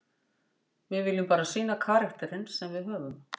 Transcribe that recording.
Við viljum bara sýna karakterinn sem við höfum.